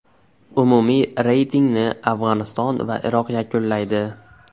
Umumiy reytingni Afg‘oniston va Iroq yakunlaydi.